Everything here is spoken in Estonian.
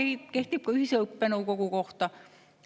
Sama kehtib ka ühise õppenõukogu kohta.